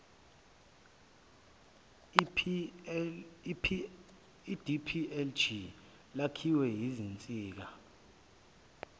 idplg lakhiwe yizinsika